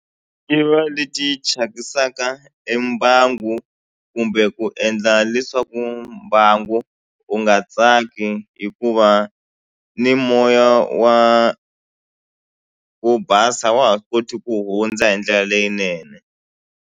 Ti va leti thyakisaka e mbangu kumbe ku endla leswaku mbangu wu nga tsaki hikuva ni moya wa wo basa a wa ha koti ku hundza hi ndlela leyinene.